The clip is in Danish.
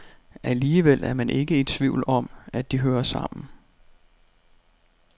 Alligevel er man ikke i tvivl om, at de hører sammen.